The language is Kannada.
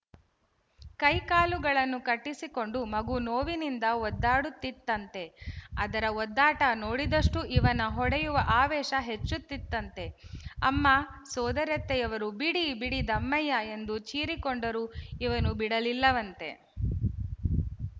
ಕೈಕಾಲುಗಳನ್ನು ಕಟ್ಟಿಸಿಕೊಂಡು ಮಗು ನೋವಿನಿಂದ ಒದ್ದಾಡುತ್ತಿತ್ತಂತೆ ಅದರ ಒದ್ದಾಟ ನೋಡಿದಷ್ಟೂ ಇವನ ಹೊಡೆಯುವ ಆವೇಶ ಹೆಚ್ಚುತ್ತಿತ್ತಂತೆ ಅಮ್ಮ ಸೋದರತ್ತೆಯವರು ಬಿಡಿ ಬಿಡಿ ದಮ್ಮಯ್ಯ ಎಂದು ಚೀರಿಕೊಂಡರೂ ಇವನು ಬಿಡಲಿಲ್ಲವಂತೆ